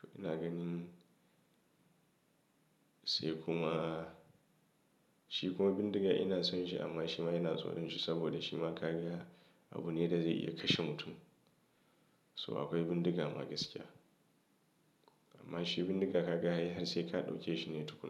to ina ganin sai kuma shi kuma bindiga ina son shi amma shi ma ina tsoron shi saboda shi ma ka ga abu ne da zai iya kashe mutum. So akwai bindiga ma gaskiya amma shi bindiga ka ga har sai ka ɗauke shi ne tukuna.